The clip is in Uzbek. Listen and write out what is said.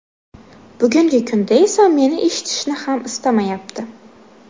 Bugungi kunda esa meni eshitishni ham istamayapti.